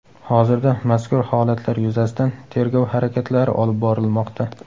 Hozirda mazkur holatlar yuzasidan tergov harakatlari olib borilmoqda.